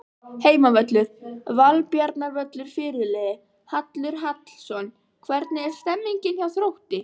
Heimavöllur: Valbjarnarvöllur Fyrirliði: Hallur Hallsson Hvernig er stemningin hjá Þrótti?